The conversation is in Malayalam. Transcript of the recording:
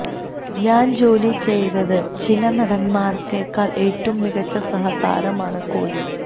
ഞാൻ ജോലി ചെയ്ത് ചില നടന്മാരേക്കാൾ ഏറ്റവും മികച്ച സഹതാരമാണ് കോലി